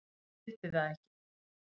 Ég skildi það ekki.